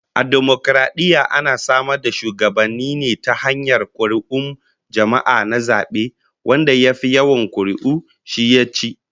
A dimokaradiyya ana samar da shugabanni ne ta hanyar kuri'un jama'a na zabe, wanda ya fi yawan kuri'u shi yaci